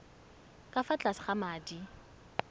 ka fa tlase ga madi